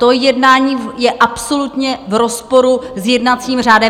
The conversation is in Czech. Toto jednání je absolutně v rozporu s jednacím řádem.